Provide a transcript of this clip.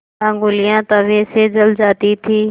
ऊँगलियाँ तवे से जल जाती थीं